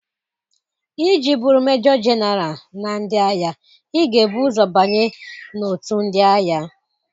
Iji bụrụ Mejo Genaral na ndị agha, ị ga-ebu ụzọ banye n'òtù ndị agha.